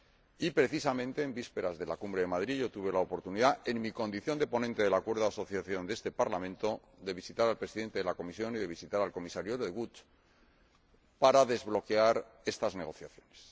Y, precisamente en vísperas de la Cumbre de Madrid, tuve la oportunidad, en mi condición de ponente del acuerdo de asociación de este Parlamento, de visitar al Presidente de la Comisión y de visitar al Comisario de Gucht para desbloquear estas negociaciones.